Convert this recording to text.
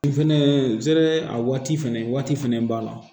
Fɛnɛ zɛmɛ a waati fɛnɛ waati fɛnɛ b'a la